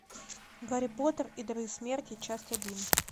гарри поттер и дары смерти часть один